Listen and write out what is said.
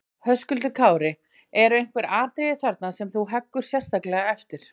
Höskuldur Kári: Eru einhver atriði þarna sem þú heggur sérstaklega eftir?